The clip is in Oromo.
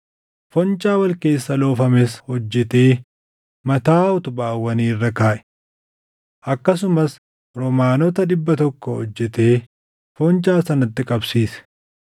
Foncaa wal keessa loofames hojjetee mataa utubaawwanii irra kaaʼe. Akkasumas roomaanoota dhibba tokko hojjetee foncaa sanatti qabsiise.